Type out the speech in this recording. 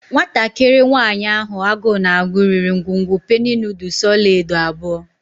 Nwatakịrị nwanyị ahụ agụụ na-agụ riri ngwugwu penny noodles ọla edo abụọ.